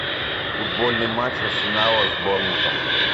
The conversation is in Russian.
футбольный матч арсенала с борнмутом